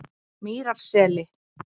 Mýrarseli